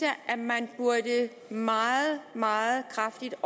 at man meget meget kraftigt